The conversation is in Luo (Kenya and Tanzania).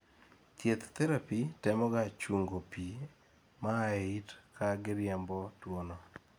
thieth therapy temoga chungo pii maa eyi it ka giriembo tuwono